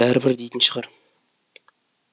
бәрібір дейтін шығар